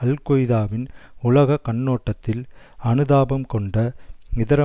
அல்கொய்தாவின் உலக கண்ணோட்டத்தில் அனுதாபம் கொண்ட இதர